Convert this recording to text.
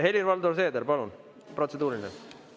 Helir-Valdor Seeder, palun, protseduuriline!